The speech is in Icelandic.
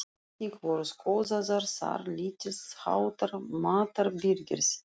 Einnig voru skoðaðar þar lítils háttar matarbirgðir.